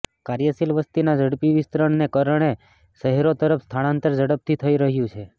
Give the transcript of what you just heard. કાર્યશીલ વસતીના ઝડપી વિસ્તરણને કારણે શહેરો તરફ સ્થળાંતર ઝડપથી થઈ રહ્યું છે